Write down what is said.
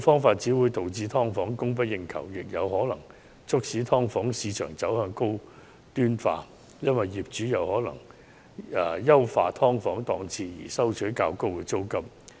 如此一來，"劏房"會供不應求，"劏房"市場更可能因此走向高端化，因為業主或會優化"劏房"檔次以求收取較高租金。